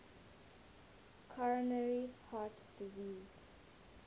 coronary heart disease